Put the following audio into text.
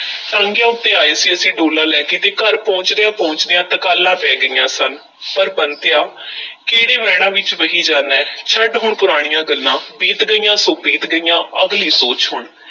ਟਾਂਗਿਆਂ ਉੱਤੇ ਆਏ ਸੀ ਅਸੀਂ ਡੋਲਾ ਲੈ ਕੇ ਤੇ ਘਰ ਪਹੁੰਚਦਿਆਂ-ਪਹੁੰਚਦਿਆਂ ਤਕਾਲਾਂ ਪੈ ਗਈਆਂ ਸਨ, ਪਰ ਬੰਤਿਆ ਕਿਹੜੇ ਵਹਿਣਾਂ ਵਿੱਚ ਵਹੀ ਜਾਨਾਂ ਐਂ, ਛੱਡ ਹੁਣ ਪੁਰਾਣੀਆਂ ਗੱਲਾਂ, ਬੀਤ ਗਈਆਂ ਸੋ ਬੀਤ ਗਈਆਂ, ਅਗਲੀ ਸੋਚ ਹੁਣ।